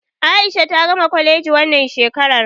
A'isha ta gama kwaleji wannan shekarar.